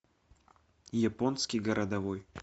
японский городовой